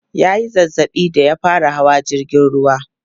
ya Yi zazzaɓi da ya fara Hawa jirgin ruwa